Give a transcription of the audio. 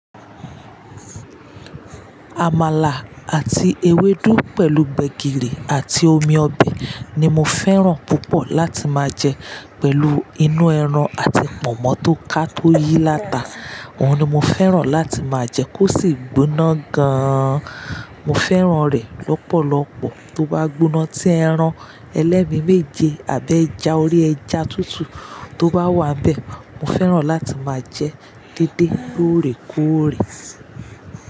Amala àti ewédú pẹ̀lú gbegiri àti omi ọbẹ̀ ni mo fẹ́ràn púpọ̀ láti máa jẹ pẹ̀lú inú ẹran àti Pọ̀nmọ́ tó ká tó yí láta. Òhun ni mo fẹ́ràn láti máa jẹ kí ó sì gbóná gan-an. Mo fẹ́ràn rẹ̀ lọ́pọ̀lọpọ̀ tó bá gbóná tí ẹran ẹlẹ́mi méje àbẹ́ ẹja orí ẹja tútù tó bá wà bẹ́ẹ̀. Mo fẹ́ràn láti máa jẹ dédé lóòrèkóòrè si.